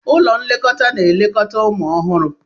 Ụlọ nlekọta na-elekọta ụmụ ọhụrụ.